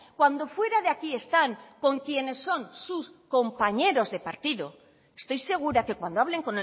cuando fuera de aquí están con quienes son su compañeros de partido estoy segura que cuando hablen